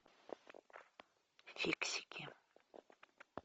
фиксики